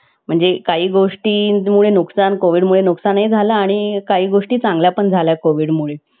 म्हणजे काही गोष्टी मुळे नुकसान कोविड मुळे नुकसान ही झालं आणि काही गोष्टी चांगल्या पण झाल्या कोविड मुळे.